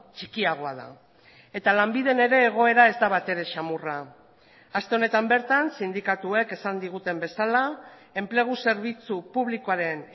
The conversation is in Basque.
txikiagoa da eta lanbiden ere egoera ez da batere samurra aste honetan bertan sindikatuek esan diguten bezala enplegu zerbitzu publikoaren